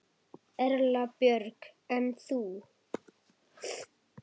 Erla Björg: En þú?